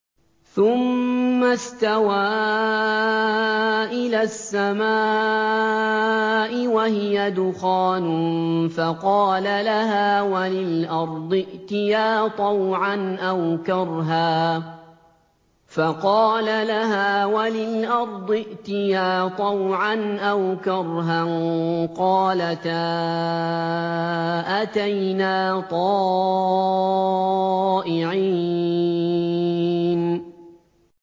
ثُمَّ اسْتَوَىٰ إِلَى السَّمَاءِ وَهِيَ دُخَانٌ فَقَالَ لَهَا وَلِلْأَرْضِ ائْتِيَا طَوْعًا أَوْ كَرْهًا قَالَتَا أَتَيْنَا طَائِعِينَ